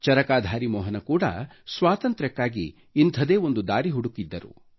ಚರಕಾಧಾರಿ ಮೋಹನ ಕೂಡಾ ಸ್ವಾತಂತ್ರ್ಯಕ್ಕಾಗಿ ಇಂಥದೇ ಒಂದು ದಾರಿ ಹುಡುಕಿದ್ದರು